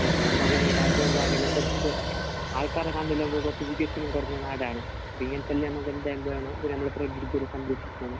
കുറച്ച് ആൾക്കാരുടെ കണ്ണിലൊക്കെ കുറച്ച് മുമ്പിട്ട് നാടാണ്. പിന്നെ